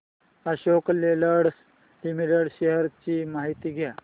Ashok Leyland limited shares ची माहिती द्या